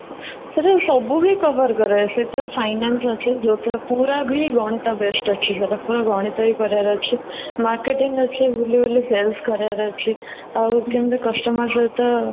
ସେଥିରେ ସବୁବି cover କରାଏ ସେଥିରେ finance ଅଛି, ଯୋଉଥିରେ ପୁରାବି ଗଣିତ best ଅଛି ପୁରା ଗଣିତ ହିଁ କରିବାର ଅଛି marketing ଅଛି ବୁଲି ବୁଲି sales କରିବାର ଅଛି ଆଉ କେମିତି customer ସହିତ